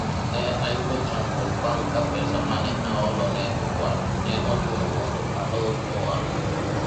ne ayudo chandruok bang' ka pesa mane aholo ne okwal, ne ochuno mondo alor ohala